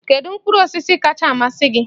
Kedu mkpụrụ osisi kachasị amasị gị?